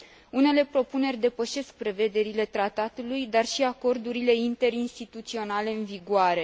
Unele propuneri depășesc prevederile Tratatului, dar și acordurile interinstituționale în vigoare.